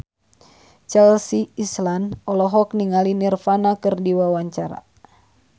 Chelsea Islan olohok ningali Nirvana keur diwawancara